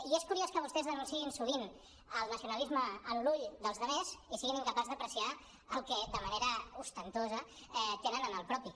i és curiós que vostès l’anunciïn sovint el nacionalisme en l’ull dels altres i siguin incapaços d’apreciar el que de manera ostentosa tenen en el propi